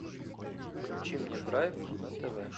включи мне драйв на тв